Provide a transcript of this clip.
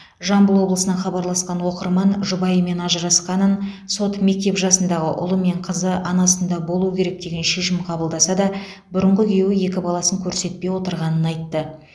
жамбыл облысынан хабарласқан оқырман жұбайымен ажырасқанын сот мектеп жасындағы ұлы мен қызы анасында болуы керек деген шешім қабылдаса да бұрынғы күйеуі екі баласын көрсетпей отырғанын айтты